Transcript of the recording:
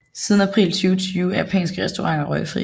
Siden april 2020 er japanske restauranter røgfri